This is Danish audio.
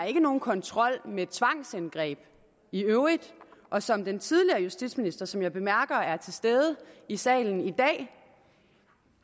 ikke nogen kontrol med tvangsindgreb i øvrigt og som den tidligere justitsminister som jeg bemærker er til stede i salen i dag